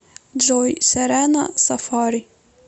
джой серена сафари